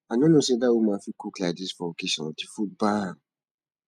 i no know say that woman fit cook like dis for occasion the food bam